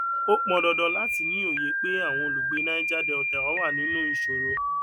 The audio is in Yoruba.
ó pọn dandan láti ní òye pé àwọn olùgbé niger delta wà nínú ìṣòro